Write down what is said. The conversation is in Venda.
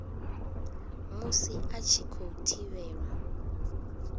musi a tshi khou thivhelwa